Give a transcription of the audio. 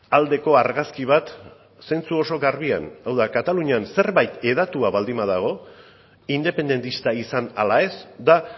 aldeko argazki bat zentzu oso garbian hau da katalunian zerbait hedatua baldin badago independentista izan ala ez da